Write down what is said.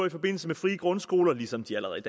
i forbindelse med frie grundskoler ligesom de allerede